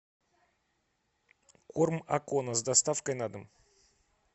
корм акона с доставкой на дом